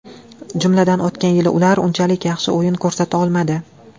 Jumladan, o‘tgan yili ular unchalik yaxshi o‘yin ko‘rsata olmadi.